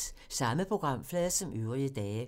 Samme programflade som øvrige dage